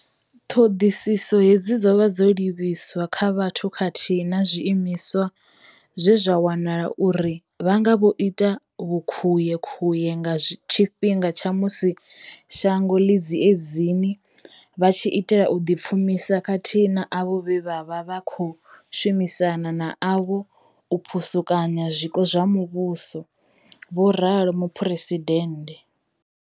Ṱhoḓisiso hedzi dzo vha dzo livhiswa kha vhathu khathihi na zwiimiswa vhe zwa wanala uri vha nga vho ita vhukhuyekhuye nga tshifhinga tsha musi shango ḽi dziedzini vha tshi itela u ḓipfumisa khathihi na avho vhe vha vha vha khou shumisana navho u phusukanya zwiko zwa muvhuso, vho ralo Muphuresi dennde.